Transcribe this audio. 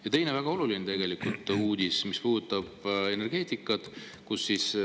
Ja teine väga oluline uudis puudutab energeetikat.